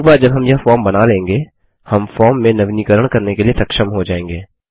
एक बार जब हम यह फॉर्म बना लेंगे हम फॉर्म में नवीनीकरण करने के लिए सक्षम हो जाएँगे